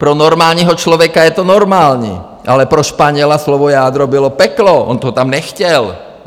Pro normálního člověka je to normální, ale pro Španěla slovo jádro bylo peklo, on to tam nechtěl.